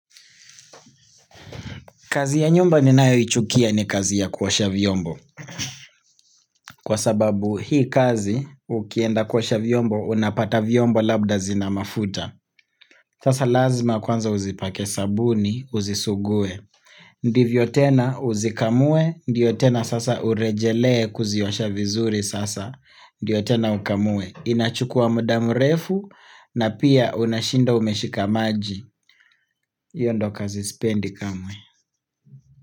Kazi ya nyumba ninayoichukia ni kazi ya kuosha vyombo. Kwa sababu hii kazi, ukienda kuosha vyombo, unapata vyombo labda zina mafuta. Sasa lazima kwanza uzipake sabuni, uzisugue. Ndivyo tena uzikamue, ndiyo tena sasa urejelee kuziosha vizuri sasa, ndiyo tena ukamue. Inachukua muda mrefu, na pia unashinda umeshika maji. Hio ndo kazi sipendi kamwe.